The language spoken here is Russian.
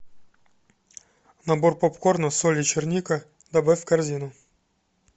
набор попкорна соль и черника добавь в корзину